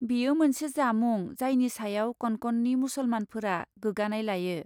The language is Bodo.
बेयो मोनसे जामुं जायनि सायाव कनकननि मुसलमानफोरा गोगानाय लायो।